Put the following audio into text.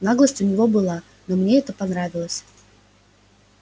наглость у него была но мне это понравилось